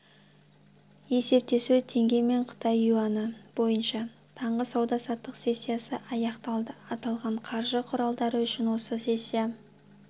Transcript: есептесуі теңгемен қытай юані бойынша таңғы сауда-саттық сессиясы аяқталды аталған қаржы құралдары үшін осы сессия